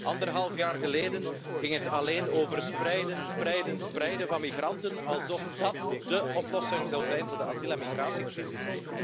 Anderhalf jaar geleden ging het alleen over spreiden, spreiden, spreiden van migranten, alsof dat dé oplossing zou zijn voor de asiel en migratiecrisis.